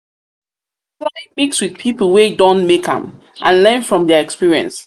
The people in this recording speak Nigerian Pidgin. try mix with pipo wey don make am and learn from their experience